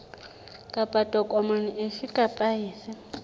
kapa tokomane efe kapa efe